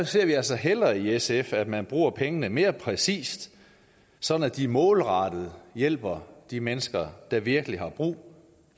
ser altså hellere i sf at man bruger pengene mere præcist sådan at de målrettet hjælper de mennesker der virkelig har brug